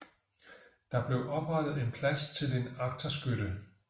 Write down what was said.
Der blev oprettet en plads til en agterskytte